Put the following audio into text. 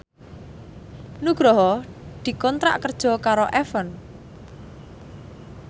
Nugroho dikontrak kerja karo Avon